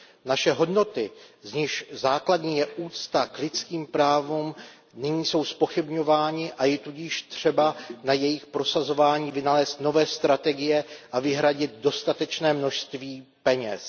Naše hodnoty, z nichž základní je úcta k lidským právům, jsou nyní zpochybňovány, a je tudíž třeba na jejich prosazování vynalézt nové strategie a vyhradit dostatečné množství peněz.